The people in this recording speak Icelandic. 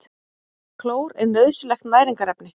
Klór er nauðsynlegt næringarefni.